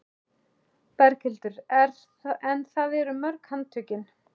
Berghildur: En það eru mörg handtökin?